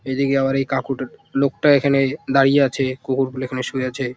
এইদিকে আবার এই কাকুটা লোকটা এখানে এ দাঁড়িয়ে আছে। কুকুর গুলা এখানে শুয়ে আছে ।